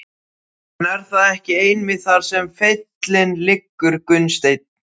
En er það ekki einmitt þar sem feillinn liggur Gunnsteinn?